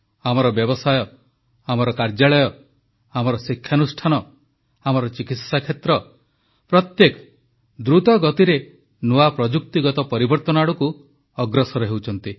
ଆମର ବ୍ୟବସାୟ ଆମର କାର୍ଯ୍ୟାଳୟ ଆମର ଶିକ୍ଷାନୁଷ୍ଠାନ ଆମର ଚିକିତ୍ସା କ୍ଷେତ୍ର ପ୍ରତ୍ୟେକ ଦ୍ରୁତଗତିରେ ନୂଆ ପ୍ରଯୁକ୍ତିଗତ ପରିବର୍ତ୍ତନ ଆଡ଼କୁ ଅଗ୍ରସର ହେଉଛନ୍ତି